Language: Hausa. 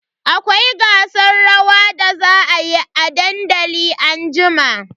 Akwai gasar rawa da za a yi a dandali anjima.